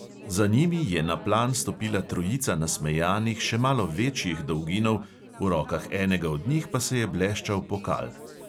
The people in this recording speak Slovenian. Za njimi je na plan stopila trojica nasmejanih še malo večjih dolginov, v rokah enega od njih pa se je bleščal pokal.